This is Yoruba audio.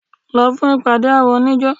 Lọ fún ìpàde àwọn oníjó!